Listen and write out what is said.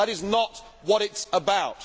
That is not what it is about.